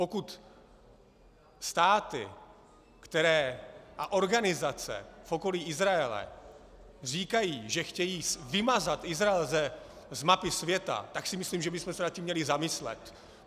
Pokud státy a organizace v okolí Izraele říkají, že chtějí vymazat Izrael z mapy světa, tak si myslím, že bychom se nad tím měli zamyslet.